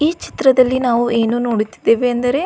ಈ ಚಿತ್ರದಲ್ಲಿ ನಾವು ಏನು ನೋಡುತ್ತಿದ್ದೇವೆ ಅಂದರೆ.